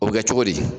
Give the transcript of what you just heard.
O bɛ kɛ cogo di